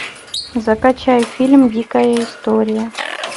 закачай фильм дикая история